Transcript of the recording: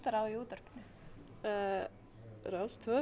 á í útvarpinu rás tvö